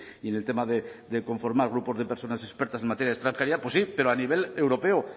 y en el tema de conformar grupos de personas expertas en materia de extranjería pues sí pero a nivel europeo